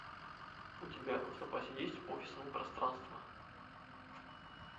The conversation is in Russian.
у тебя в запасе есть офисное пространство